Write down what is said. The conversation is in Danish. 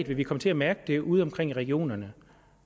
vil vi komme til at mærke det konkret udeomkring i regionerne